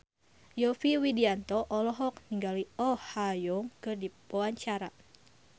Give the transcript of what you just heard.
Yovie Widianto olohok ningali Oh Ha Young keur diwawancara